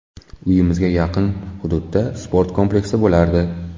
Uyimizga yaqin hududda sport kompleksi bo‘lardi.